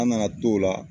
An nana to la